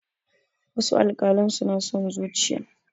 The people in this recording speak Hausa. wasu alkalan suna son zuciya